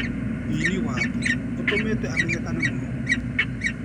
Wini wake ũtũmĩte amenyekane mũno.